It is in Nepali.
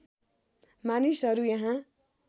मानिसहरू यहाँ